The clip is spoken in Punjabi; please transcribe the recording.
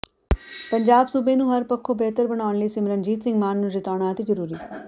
ਪੰਜਾਬ ਸੂਬੇ ਨੂੰ ਹਰ ਪੱਖੋਂ ਬਿਹਤਰ ਬਣਾਉਣ ਲਈ ਸਿਮਰਨਜੀਤ ਸਿੰਘ ਮਾਨ ਨੂੰ ਜਿਤਾਉਣਾ ਅਤਿ ਜ਼ਰੂਰੀ